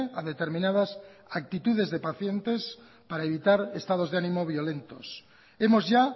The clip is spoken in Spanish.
a determinadas actitudes de pacientes para evitar estados de ánimo violentos hemos ya